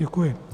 Děkuji.